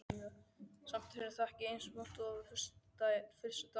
Samt er þetta ekki eins vont og fyrstu dagana.